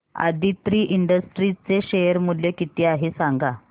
Aditri industries चे शेअर मूल्य किती आहे सांगा